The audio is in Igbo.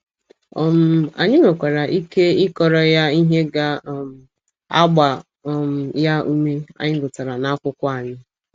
um Anyị nwekwara ike ịkọrọ ya ihe ga um - agba um ya ume, anyị gụtara n’akwụkwọ anyị.